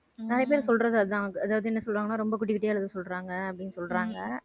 நிறைய பேர் சொல்றது அதான். அதாவது என்ன சொல்றாங்கன்னா ரொம்ப குட்டி குட்டியா எழுத சொல்றாங்க அப்படின்னு சொல்றாங்க.